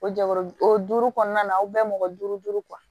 O jɛkulu o duuru kɔnɔna na aw bɛɛ mɔgɔ duuru